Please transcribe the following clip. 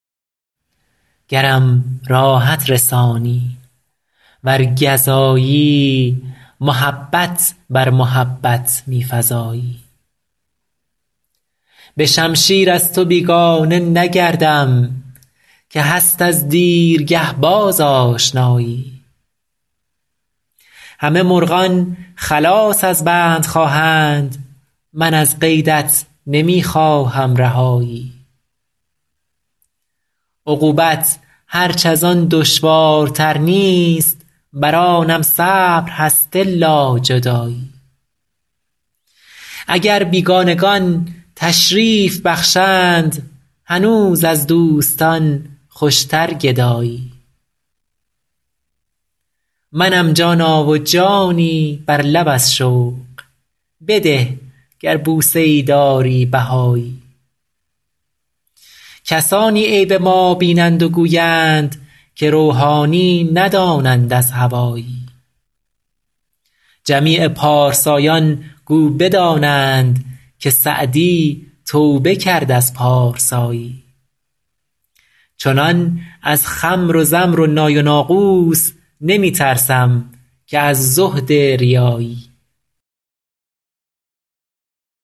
گرم راحت رسانی ور گزایی محبت بر محبت می فزایی به شمشیر از تو بیگانه نگردم که هست از دیرگه باز آشنایی همه مرغان خلاص از بند خواهند من از قیدت نمی خواهم رهایی عقوبت هرچ از آن دشوارتر نیست بر آنم صبر هست الا جدایی اگر بیگانگان تشریف بخشند هنوز از دوستان خوشتر گدایی منم جانا و جانی بر لب از شوق بده گر بوسه ای داری بهایی کسانی عیب ما بینند و گویند که روحانی ندانند از هوایی جمیع پارسایان گو بدانند که سعدی توبه کرد از پارسایی چنان از خمر و زمر و نای و ناقوس نمی ترسم که از زهد ریایی